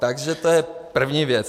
Takže to je první věc.